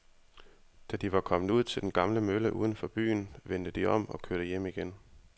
Da de var kommet ud til den gamle mølle uden for byen, vendte de om og kørte hjem igen.